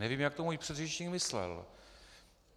Nevím, jak to můj předřečník myslel.